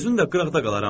Özüm də qıraqda qalaram.